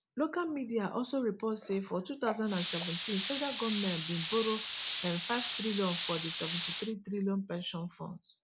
local media also report say for two thousand and seventeen federal goment bin borrow nfive trillion from di nseventy-three trillion pension funds